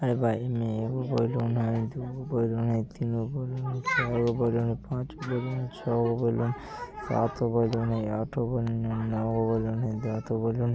में एगो बेलून हय दुगो बेलून हय तीनगो बेलून हय चार गो बेलून हय पांच गो बेलून हय छगो बेलून हय सात गो बेलून हय आठगो बेलून हय नोगो बेलून हय दसगो बेलून हय।